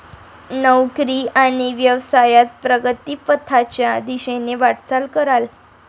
नोकरी आणि व्यवसायात प्रगतीपथाच्या दिशेने वाटचाल कराल.